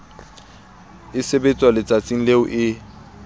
e sebetswa letsatsing leo e